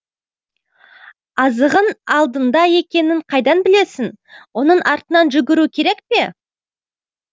азығың алдыңда екенін қайдан білесің оның артынан жүгіру керек пе